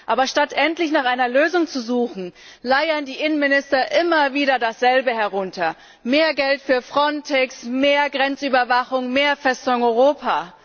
Aber statt endlich nach einer Lösung zu suchen, leiern die Innenminister immer wieder dasselbe herunter mehr Geld für Frontex, mehr Grenzüberwachung, mehr Festung Europa.